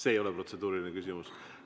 See ei ole protseduuriline küsimus.